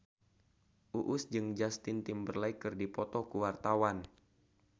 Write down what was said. Uus jeung Justin Timberlake keur dipoto ku wartawan